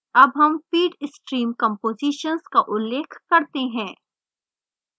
अब हम feed stream compositions का उल्लेख करते हैं